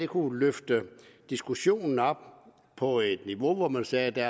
kunne løfte diskussionen op på et niveau hvor man sagde at der